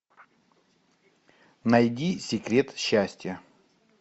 найди секрет счастья